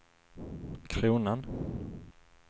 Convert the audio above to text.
kronan